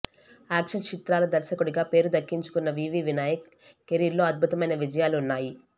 action చిత్రాల దర్శకుడిగా పేరు దక్కించుకున్న వివి వినాయక్ కెరీర్లో అద్బుతమైన విజయాలు ఉన్నాయి